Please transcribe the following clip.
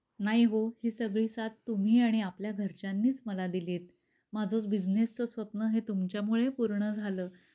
नाही हो ही सगळी सात तुम्ही आणि आपल्या घरच्यानीच मला दिल्ली आहे. माझ बिझनेसच स्वप्न हे तुमच्या मुळे पूर्ण झाल.